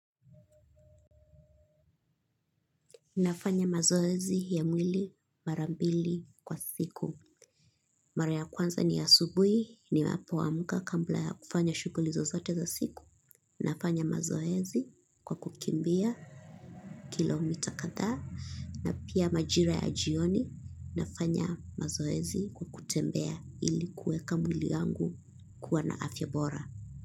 Nafanya mazoezi ya mwili marambili kwa siku. Mara ya kwanza ni ya asubuhi ni napo amka kabla ya kufanya shughuli zozote za siku. Nafanya mazoezi kwa kukimbua kilometer kadhaa na pia majira ya jioni. Nafanya mazoezi kwa kutembea ilikuweka mwili yangu kuwa na afya bora.